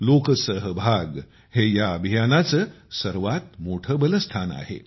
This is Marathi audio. लोकसहभाग हे या अभियानाचे सर्वात मोठे बलस्थान आहे